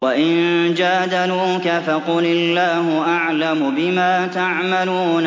وَإِن جَادَلُوكَ فَقُلِ اللَّهُ أَعْلَمُ بِمَا تَعْمَلُونَ